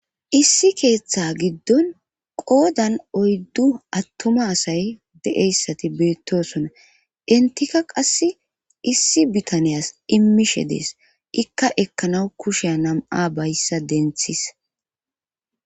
issi keeththa giddon qoodan oyddu atuma asay de7eyssati beettosona intika qass issi bitaniyas immishe dees ikka ekkanaw kusheya nam7a bayssa denthis